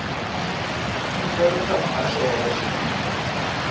khumbelo kha muhasho wa vhashumi